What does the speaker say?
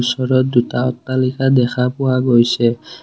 ওচৰত দুটা অট্টালিকা দেখা পোৱা গৈছে।